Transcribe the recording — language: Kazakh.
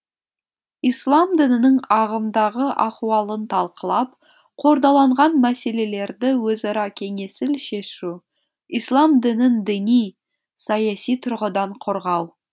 ислам дінінің ағымдағы ахуалын талқылап қордаланған мәселелерді өзара кеңесіл шешу ислам дінін діни саяси тұрғыдан қорғау